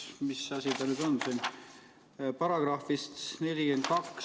Oli vist § 42.